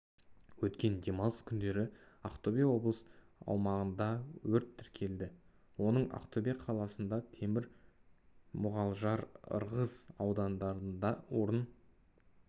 өткен демалыс күндері ақтөбе облысы аумағында өрт тіркелді оның ақтөбе қаласында темір мұғалжар ырғыз аудандарында орын